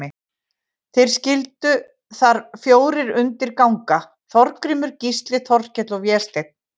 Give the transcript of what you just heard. Þeir skyldu þar fjórir undir ganga, Þorgrímur, Gísli, Þorkell og Vésteinn.